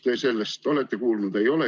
Mida te olete sellest kuulnud?